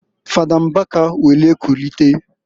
Fada Mbaka were kulite.